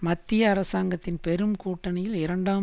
மத்திய அரசாங்கத்தின் பெரும் கூட்டணியில் இரண்டாம்